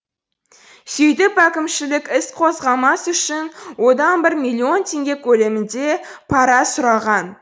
сөйтіп әкімшілік іс қозғамас үшін одан бір миллион теңге көлемінде пара сұраған